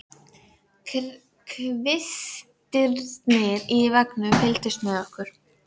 Kvistirnir í veggnum fylgdust með okkur.